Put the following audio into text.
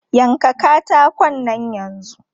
Yanka katakon nan yanzu!